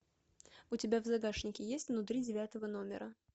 у тебя в загашнике есть внутри девятого номера